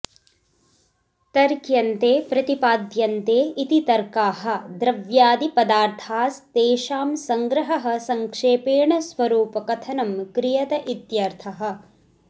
तर्क्यन्ते प्रतिपाद्यन्ते इति तर्काः द्रव्यादिपदार्थास्तेषां संग्रहः संक्षेपेण स्वरूपकथनं क्रियत इत्यर्थः